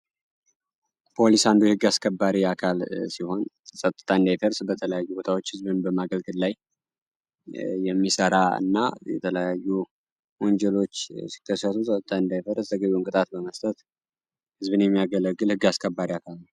ፖሊስ አስከባሪ አካል ሲሆን በተለያዩ ቦታዎች ህዝብ ላይ የሚሠራ እና የተለያዩ ወንጀሎች ከሰጡት በመስጠት ያገለግለግ አስከባሪ አካል ነው።